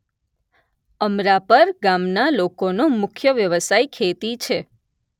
અમરાપર ગામના લોકોનો મુખ્ય વ્યવસાય ખેતી છે